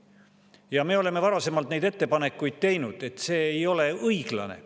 Ja me oleme varasemalt, et see ei ole õiglane.